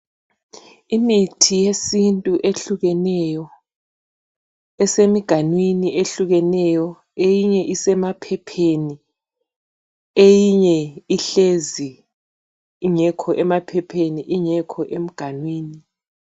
Imithi yesintu ehlukeneyo, esemigwamnini ehlukeneyo eyinye isemaphepheni eyinye ihlezi ingekho emaphepheni ingekho emgamnini.